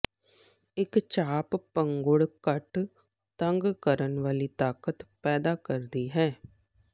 ਇੱਕ ਚਾਪ ਪੰਘੂੜ ਘੱਟ ਤੰਗ ਕਰਨ ਵਾਲੀ ਤਾਕਤ ਪੈਦਾ ਕਰਦੀ ਹੈ